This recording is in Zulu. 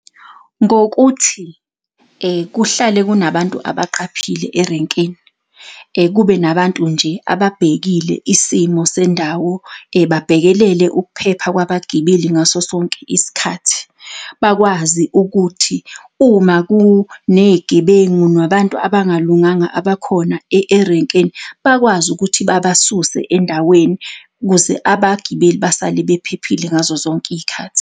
Ngokuthi kuhlale kunabantu abaqaphile erenkeni, kube nabantu nje ababhekile isimo sendawo babhekelele ukuphepha kwabagibeli ngaso sonke isikhathi. Bakwazi ukuthi, uma kuney'gebengu, nabantu abangalunganga abakhona erenkeni, bakwazi ukuthi babasuse endaweni ukuze abagibeli basale bephephile ngazo zonke iy'khathi.